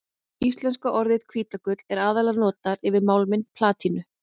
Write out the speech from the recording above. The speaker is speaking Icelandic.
Íslenska orðið hvítagull er aðallega notað yfir málminn platínu.